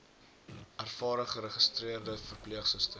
ervare geregistreerde verpleegsusters